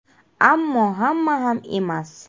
Ammo hamma ham emas.